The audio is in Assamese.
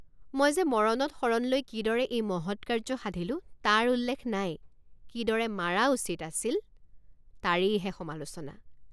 মই যে মৰণত শৰণ লৈ কিদৰে এই মহৎ কাৰ্য সাধিলোঁ তাৰ উল্লেখ নাই কিদৰে মাৰা উচিত আছিল তাৰেইহে সমালোচনা।